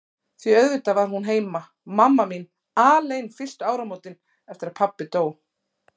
Því auðvitað var hún heima, mamma mín, alein fyrstu áramótin eftir að pabbi dó.